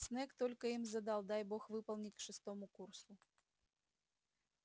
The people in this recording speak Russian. снегг столько им задал дай бог выполнить к шестому курсу